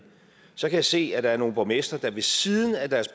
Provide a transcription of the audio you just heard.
så kan jeg se at der er nogle borgmestre der ved siden af deres